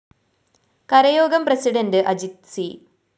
കരയോഗം president Ajith C